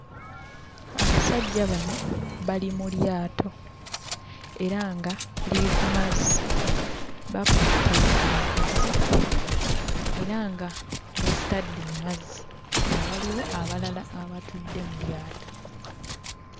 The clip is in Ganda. Abasajja bano bali mu lyato, era nga liri ku mazzi. Bakutte enkasi era nga bazitadde mazzi, nga waliwo abalala abatudde mu lyato.